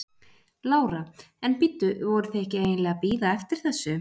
Lára: En bíddu, voruð þið ekki eiginlega að bíða eftir þessu?